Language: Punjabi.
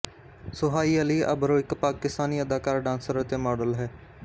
ਸੁਹਾਈ ਅਲੀ ਅਬਰੋ ਇੱਕ ਪਾਕਿਸਤਾਨੀ ਅਦਾਕਾਰਾ ਡਾਂਸਰ ਅਤੇ ਮਾਡਲ ਹੈ